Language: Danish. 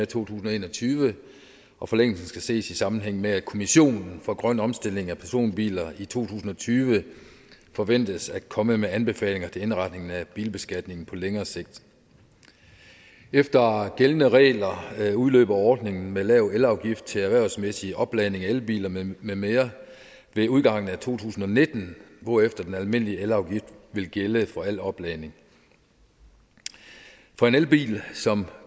tusind og en og tyve og forlængelsen skal ses i sammenhæng med at kommissionen for grøn omstilling af personbiler i to tusind og tyve forventes at komme med anbefalinger til indretningen af bilbeskatningen på længere sigt efter gældende regler udløber ordningen med lav elafgift til erhvervsmæssig opladning af elbiler med med mere ved udgangen af to tusind og nitten hvorefter den almindelige elafgift vil gælde for al opladning for en elbil som